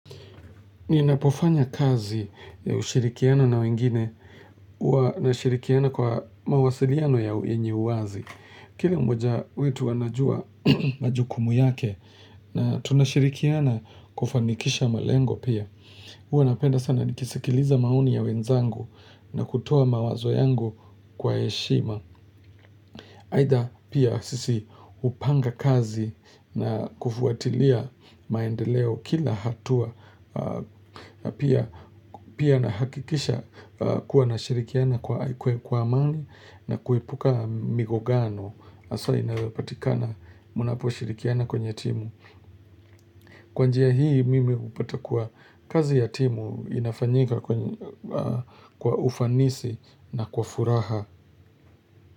Ninapofanya kazi ya ushirikiano na wengine, huwa nashirikiana kwa mawasiliano yenye uwazi. Kile mmoja wetu anajua majukumu yake na tunashirikiana kufanikisha malengo pia. Huwa napenda sana nikisikiliza maoni ya wenzangu na kutoa mawazo yangu kwa heshima. Aidha pia sisi hupanga kazi na kufuatilia maendeleo kila hatua na pia Pia nahakikisha kuwa nashirikiana kwa amani na kuepuka migogano. Hasa inayopatikana mnaposhirikiana kwenye timu. Kwa njia hii mimi hupata kuwa kazi ya timu inafanyika kwa ufanisi na kwa furaha.